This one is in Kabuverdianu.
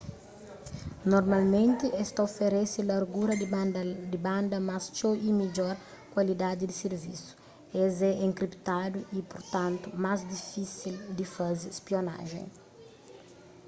normalmenti es ta oferese largura di banda más txeu y midjor kualidadi di sirvisu es é enkriptadu y purtantu más difisil di faze spionajen